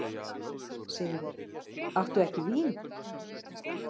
SIGURÐUR: Áttu ekki vín?